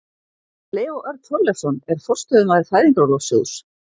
Leó Örn Þorleifsson er forstöðumaður Fæðingarorlofssjóðs.